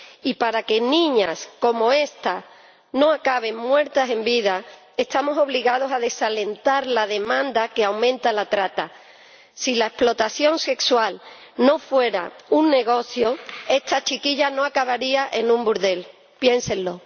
Y para que niñas como esta no acaben muertas en vida, estamos obligados a desalentar la demanda que aumenta la trata. Si la explotación sexual no fuera un negocio, esta chiquilla no acabaría en un burdel, piénsenlo.